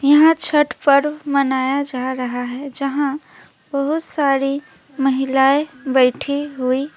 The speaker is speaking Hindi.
यहां छट पर्व मनाया जा रहा है जहां बहोत सारी महिलाएं बैठी हुई--